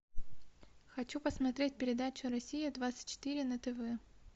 хочу посмотреть передачу россия двадцать четыре на тв